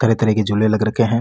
तरह तरह के झूले लग रखे है।